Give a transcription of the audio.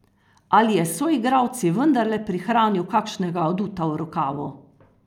Ali je s soigralci vendarle prihranil kakšnega aduta v rokavu?